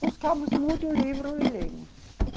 Buscamos muitos livros e lemos.